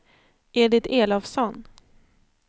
Edit Elofsson